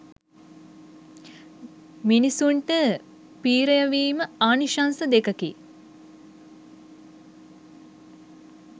මිනිසුන්ට පි්‍රයවීම ආනිශංස දෙකෙකි.